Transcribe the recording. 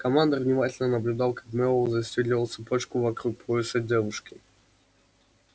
командор внимательно наблюдал как мэллоу застёгивал цепочку вокруг пояса девушки